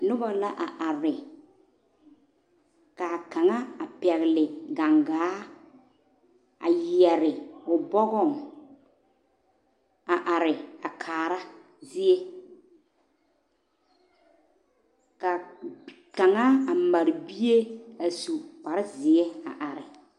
noba la a are ka kanga a pɛgle gangaa a yɛre o bɔgong a are a kaara zie ka kanga a mare bie a su kpare zeɛ a are